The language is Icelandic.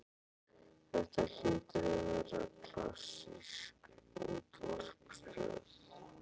Þetta hlýtur að vera klassísk útvarpsstöð.